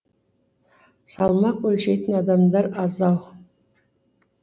салмақ өлшейтін адамдар аз ау